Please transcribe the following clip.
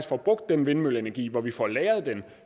får brugt den vindmølleenergi hvor vi får lagret den